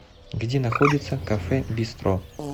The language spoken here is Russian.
где находится кафе бистро